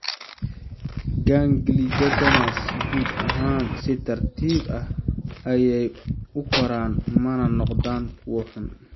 Gangliocytomas guud ahaan si tartiib ah ayey u koraan mana noqdaan kuwo xun.